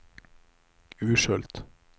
Urshult